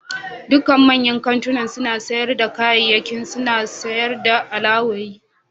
Dukkan manyan kantunan sayar da kayayyaki suna sayar da alawoyi.